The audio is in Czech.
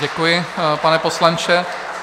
Děkuji, pane poslanče.